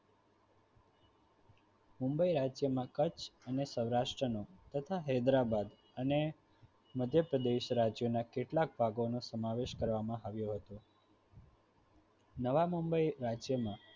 મુંબઇ રાજ્યમાં કચ્છ અને અને સૌરાષ્ટ્રને તથા હૈદરાબાદ અને મધ્ય પ્રદેશ રાજ્યમાં કેટલાક ભાગ નું સમાવેશ કરવામાં આવ્યું હતું નવા મુંબઇ રાજ્ય ને